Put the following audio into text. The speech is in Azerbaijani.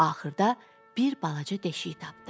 Axırda bir balaca deşik tapdı.